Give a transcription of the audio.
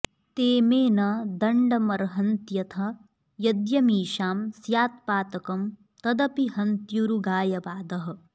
ते मे न दण्डमर्हन्त्यथ यद्यमीषां स्यात्पातकं तदपि हन्त्युरुगायवादः